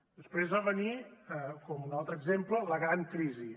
després va venir com un altre exemple la gran crisi